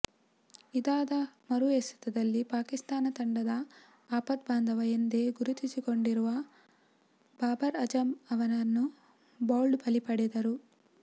ಇದಾದ ಮರು ಎಸೆತದಲ್ಲಿ ಪಾಕಿಸ್ತಾನ ತಂಡದ ಆಪತ್ಭಾಂದವ ಎಂದೇ ಗುರುತಿಸಿಕೊಂಡಿರುವ ಬಾಬರ್ ಅಜಂ ಅವರನ್ನು ಬೌಲ್ಟ್ ಬಲಿ ಪಡೆದರು